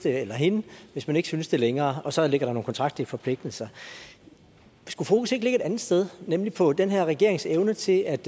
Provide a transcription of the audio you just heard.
eller hende hvis man ikke synes det længere og så ligger der nogle kontraktlige forpligtelser skulle fokus ikke ligge et andet sted nemlig på den her regerings evne til at